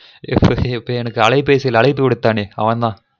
இப்ப இப்ப எனக்கு அலைபேசியில் அழைப்பு விடுத்தானே அவன் தான்